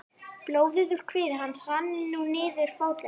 Blóðið úr kviði hans rann nú niður fótlegginn.